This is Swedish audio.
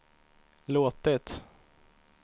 låtit